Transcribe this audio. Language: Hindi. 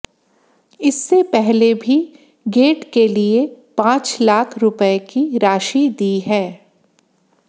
इससे पहले भी गेट के लिए पांच लाख रुपए की राशि दी है